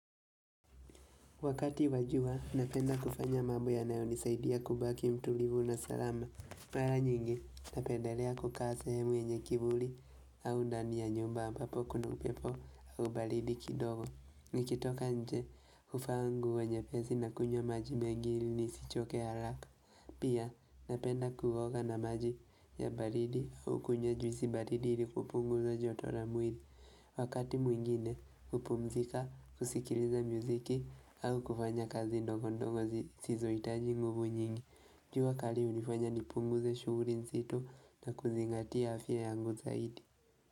Wakati wa jua, napenda kufanya mambo yanayo nisaidia kubaki mtulivu na salama. Wala nyingi, napendalea kukasa hemwe nye kibuli au ndani ya nyumba ambapo kuna upepo au balidi kidogo. Nikitoka nje, ufangu wa nyepezi na kunya maji mengili nisichoke alaka. Pia, napenda kugoka na maji ya balidi au kunya juisi balidi ili kupungu za jotora muidi. Wakati mwingine, kupumzika, kusikiliza muziki, alo kufanya kazi ndongo ndongo sizo itaji nguvu nyingi. Njua kali unifanya nipungu ze shuguri nsitu na kuzingatia afya yangu zaidi.